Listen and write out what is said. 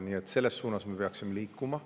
Nii et selles suunas me peaksime liikuma.